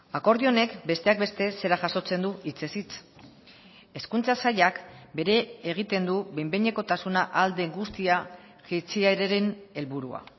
akordio honek besteak beste zera jasotzen du hitzez hitz hezkuntza sailak bere egiten du behin behinekotasuna ahal den guztia jaitsieraren helburua